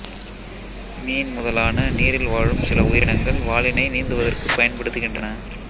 மீன் முதலான நீரில் வாழும் சில உயிரினங்கள் வாலினை நீந்துவதற்குப் பயன்படுத்துகின்றன